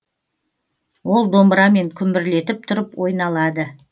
ол домбырамен күмбірлетіп тұрып ойналады